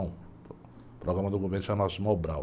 O programa do governo chama-se Mobral.